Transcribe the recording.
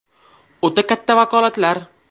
O‘ta katta vakolatlar.